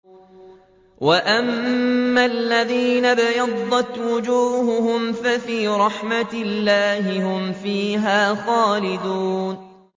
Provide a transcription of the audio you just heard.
وَأَمَّا الَّذِينَ ابْيَضَّتْ وُجُوهُهُمْ فَفِي رَحْمَةِ اللَّهِ هُمْ فِيهَا خَالِدُونَ